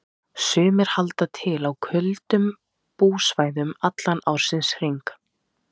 Sumir halda til á köldum búsvæðum allan ársins hring.